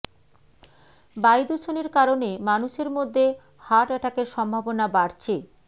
বায়ু দূষণের কারণে মানুষের মধ্যে হার্ট অ্যাটাকের সম্ভাবনা বাড়ছে